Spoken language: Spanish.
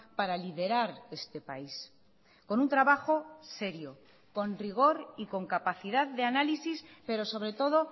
para liderar este país con un trabajo serio con rigor y con capacidad de análisis pero sobre todo